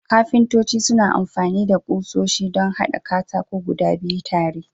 Kafintoci suna amfani da kusoshi don haɗa katako guda biyu tare.